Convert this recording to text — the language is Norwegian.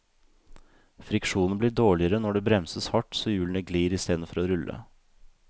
Friksjonen blir dårligere når det bremses hardt så hjulene glir i stedet for å rulle.